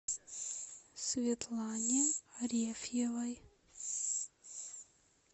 светлане арефьевой